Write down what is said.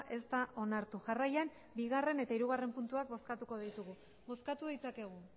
ez da onartu jarraian bigarrena eta hirugarrena puntuak bozkatuko ditugu bozkatu ditzakegu